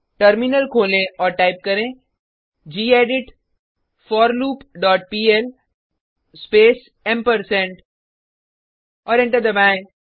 terminal खोलें और type करें गेडिट forloopपीएल स्पेस और एंटर दबाएँ